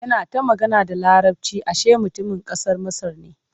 Yana ta magana da Laraci ashe mutumin ƙasar Masar ne.